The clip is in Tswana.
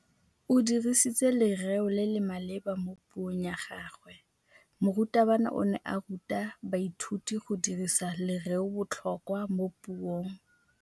O dirisitse lerêo le le maleba mo puông ya gagwe. Morutabana o ne a ruta baithuti go dirisa lêrêôbotlhôkwa mo puong.